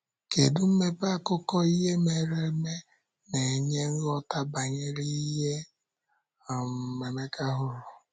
Kedu mmepe akụkọ ihe mere eme na-enye nghọta banyere ihe um Emeka hụrụ?